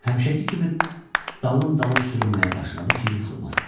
Həmişəki kimi dalın dalın sürünməyə başladı ki, yıxılmasın.